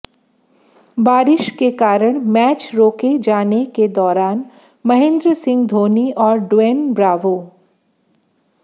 बारिश के कारण मैच रोके जाने के दौरान महेंद्र सिंह धोनी और ड्वेन ब्रावो